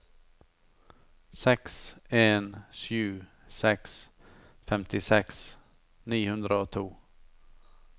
seks en sju seks femtiseks ni hundre og to